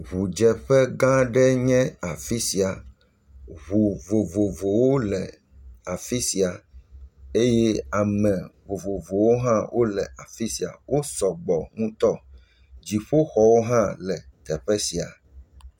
Ŋudzeƒe gã aɖe nye afi sia, ŋu vovovowo le afi sia eye ame vovovowo hã le afi sia eye ame vovovowo hã le afi sia, wo sɔgbɔ ŋutɔ, dziƒoxɔwo hã le afi sia.